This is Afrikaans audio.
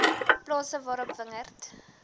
plase waarop wingerd